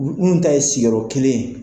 minnu ta ye sigiyɔrɔ kelen ye.